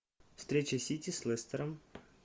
встреча сити с лестером